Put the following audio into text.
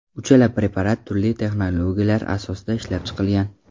Uchala preparat turli texnologiyalar asosida ishlab chiqilgan.